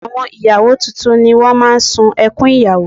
Àwọn ìyàwó tuntun ni wọ́n máa ń sun ẹkún ìyàwó